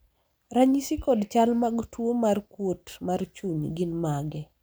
ranyisi kod chal mag tuo mar kuot mar chuny gin mage?